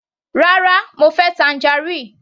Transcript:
Rárá, mo fẹ́ tangerine.